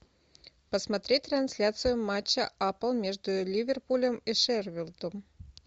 посмотреть трансляцию матча апл между ливерпулем и шеффилдом